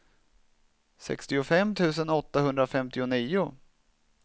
sextiofem tusen åttahundrafemtionio